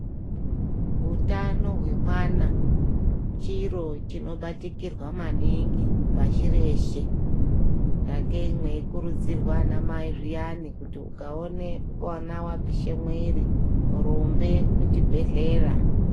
Utano hwemwana chiro chinobatikirwa maningi pashii reshe sakei mweikurudzirwa ana mai zviyana kuti ukaona mwana wapishe mwiri rumbe kuchibhedhlera.